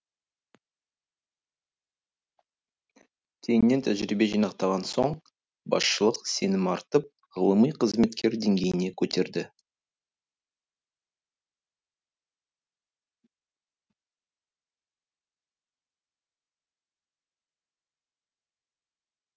кейіннен тәжірибе жинақтаған соң басшылық сенім артып ғылыми қызметкер деңгейіне көтерді